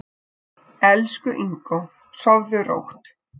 Elsku Ingó, sofðu rótt.